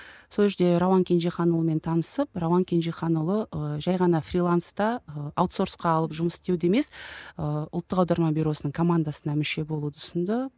сол жерде рауан кенжеханұлымен танысып рауан кенжеханұлы ы жай ғана фриланста ы аутсорсқа алып жұмыс істеуді емес ы ұлттық аударма бюроның командасына мүше болуды ұсынды